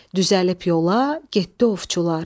Düzəlib yola getdi ovçular.